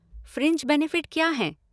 Fringe benefit क्या हैं?